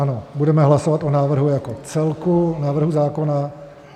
Ano, budeme hlasovat o návrhu jako celku návrhu zákona.